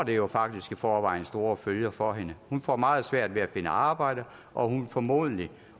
jo faktisk i forvejen store følger for hende hun får meget svært ved at finde arbejde og hun vil formodentlig